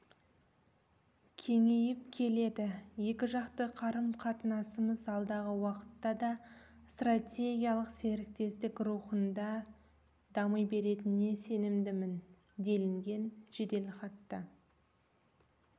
кеңейіп келеді екіжақты қарым-қатынасымыз алдағы уақытта да стратегиялық серіктестік рухында дами беретініне сенімдімін делінген жеделхатта